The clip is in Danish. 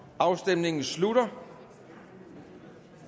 afstemningen slutter